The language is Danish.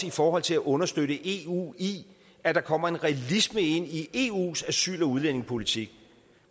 i forhold til at understøtte eu i at der kommer en realisme ind i eus asyl og udlændingepolitik